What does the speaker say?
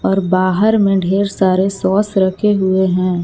और बाहर में ढेर सारे सॉस रखे हुए है।